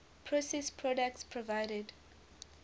processed products provided